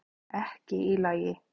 Ekki í lagi